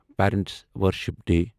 parents worship day